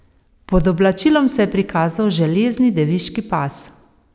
Pod oblačilom se je prikazal železni deviški pas.